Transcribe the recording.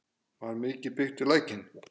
Var mikil byggð við Lækinn?